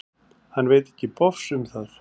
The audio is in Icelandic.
Hann veit ekki bofs um það.